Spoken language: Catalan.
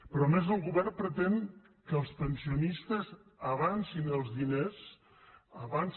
però a més el govern pretén que els pensionistes avancin els diners avancin